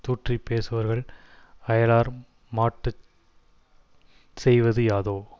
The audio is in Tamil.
தூற்றிப் பேசுபவர்கள் அயலார் மாட்டு செய்வது யாதோ